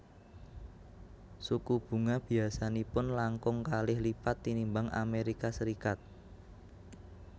Suku bunga biasanipun langkung kalih lipat tinimbang Amérika Serikat